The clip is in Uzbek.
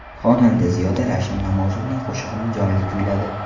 Xonanda Ziyoda Ravshan Namozovning qo‘shig‘ini jonli kuyladi.